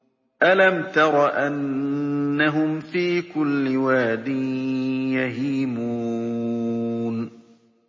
أَلَمْ تَرَ أَنَّهُمْ فِي كُلِّ وَادٍ يَهِيمُونَ